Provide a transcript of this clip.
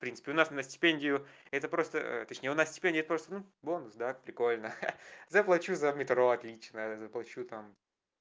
в принципе у нас и на стипендию это просто точнее у нас стипендия просто ну бонус да прикольно заплачу за метро отлично заплачу там